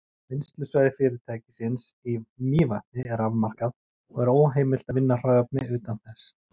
Vinnslusvæði fyrirtækisins í Mývatni er afmarkað, og er óheimilt að vinna hráefni utan þess.